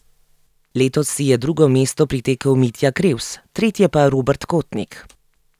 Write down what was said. Letos si je drugo mesto pritekel Mitja Krevs, tretje pa Robert Kotnik.